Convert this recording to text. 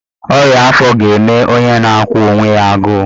Ọnya afọ ga-eme onye na-akwụ onwe ya agụụ